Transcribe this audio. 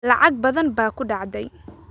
Lacag badan baa ku dhacday